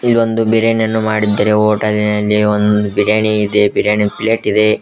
ಇಲ್ಲೊಂದು ಬಿರಿಯಾನಿಯನ್ನು ಮಾಡಿದ್ದಾರೆ ಹೋಟೆಲಿನಲ್ಲಿ ಒಂದು ಬಿರಿಯಾನಿ ಇದೆ ಬಿರಿಯಾನಿ ಪ್ಲೇಟ್ ಇದೆ.